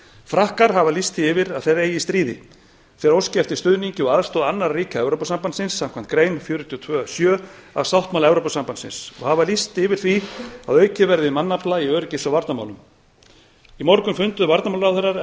frakkar hafa lýst því yfir að þeir eigi í stríði þeir óski eftir stuðningi og aðstoð annarra ríkja evrópusambandsins samkvæmt grein fjörutíu og tvö sjö í sáttmála evrópusambandsins og hafa lýst yfir því að aukið verði við mannafla í öryggis og varnarmálum í morgun funduðu varnarmálaráðherrar evrópusambandsins